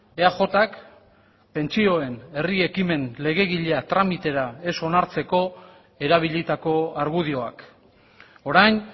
eajk pentsioen herri ekimen legegilea tramitera ez onartzeko erabilitako argudioak orain